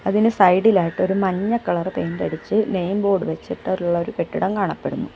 ഇതിന് സൈഡിലായിട്ട് ഒരു മഞ്ഞ കളർ പെയിൻ്റടിച്ച് നെയിം ബോർഡ് വെച്ചി ട്ടൊള്ളൊരു കെട്ടിടം കാണപ്പെടുന്നു.